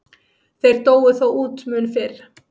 Þeir dóu þó út mun fyrr.